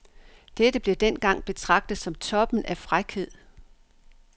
Dette blev dengang betragtet som toppen af frækhed.